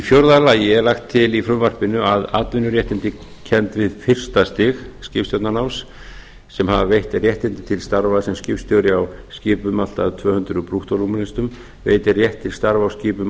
fjórða lagt er til í frumvarpinu að atvinnuréttindi kennd við fyrsta stig skipstjórnarnáms sem hafa veitt réttindi til starfa sem skipstjóri á skipum allt að tvö hundruð brúttórúmlestum veiti rétt til starfa á skipum